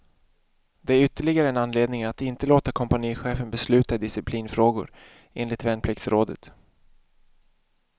Det är ytterligare en anledning att inte låta kompanichefen besluta i disciplinfrågor, enligt värnpliktsrådet.